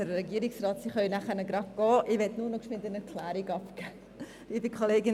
Herr Regierungsrat Schnegg, Sie können gleich gehen, ich möchte nur noch eine kurze Erklärung abgeben.